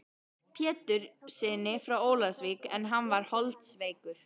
Péturssyni frá Ólafsvík en hann var holdsveikur.